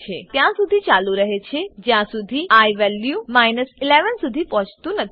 ત્યારસુધી ચાલુ રહે છે જ્યાંસુધી આઇ વેલ્યુ 11 સુધી પહોંચતું નથી